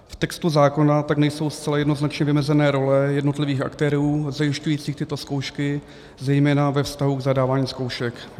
V textu zákona tak nejsou zcela jednoznačně vymezené role jednotlivých aktérů zajišťujících tyto zkoušky zejména ve vztahu k zadávání zkoušek.